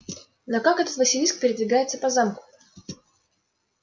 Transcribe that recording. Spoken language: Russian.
но как этот василиск передвигается по замку